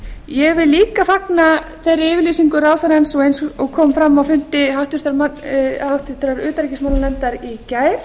ég vil líka fagna þeirri yfirlýsingu ráðherrans og eins og kom fram á fundi háttvirtrar utanríkismálanefndar í gær